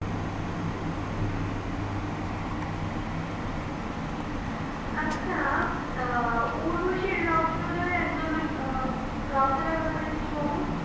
আচ্ছা উর্বশী রাউটেলর একজন রাউটেলার ব্যপারে কিছু বলো?